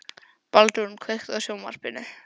Baldrún, kveiktu á sjónvarpinu.